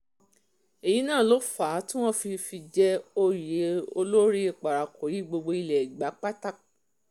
èyí náà ló fà á tí wọ́n fi fi í jẹ òye um olórí parakòyí gbogbo ilé ẹgbà um pátá